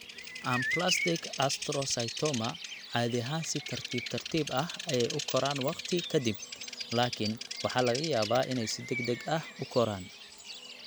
Anaplastic astrocytoma caadi ahaan si tartiib tartiib ah ayey u koraan waqti ka dib, laakiin waxaa laga yaabaa inay si degdeg ah u koraan.